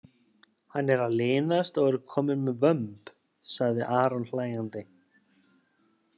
Hann er að linast og er kominn með vömb, sagði Aron hlægjandi.